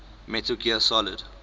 metal gear solid